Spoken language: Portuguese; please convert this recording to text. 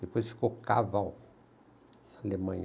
Depois ficou Caval, Alemanha.